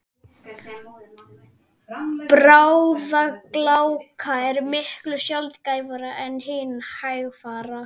Bráðagláka er miklu sjaldgæfari en hin hægfara.